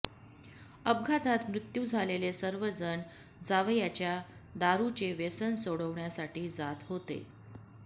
अपघातात मृत्यू झालेले सर्वजण जावयाच्या दारुचे व्यसन सोडवण्यासाठी जात होते